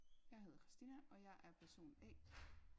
Jeg hedder Christina og jeg er person A